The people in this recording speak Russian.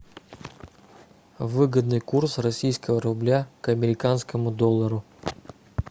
выгодный курс российского рубля к американскому доллару